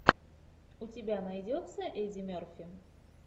у тебя найдется эдди мерфи